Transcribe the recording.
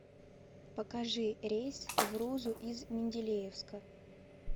покажи рейс в рузу из менделеевска